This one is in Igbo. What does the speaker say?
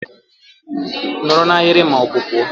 Nọrọ na ahịrị ma ọ bụ pụọ!